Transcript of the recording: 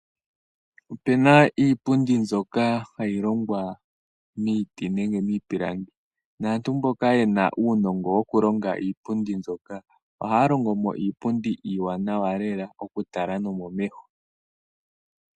Opuna iipundi mbyoka hayi longwa miiti nenge miipilangi, naantu mboka yena uunongo woku longa iipundi mbyoka ohaya longo mo iipundi iiwanawa lela oku tala no momeho.